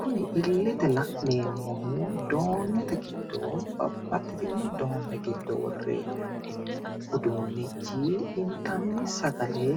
Kuni illete la'neemmohu doonnete giddo babbaxxitino doonne giddo worre uduunnichi intanni sagale